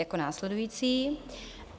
Jako následující.